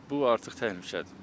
Bu artıq təhlükədir.